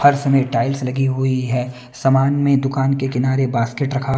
फर्श में टाइल्स लगी हुई है समान में दुकान के किनारे बास्केट रखा--